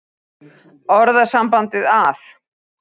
Orðasambandið að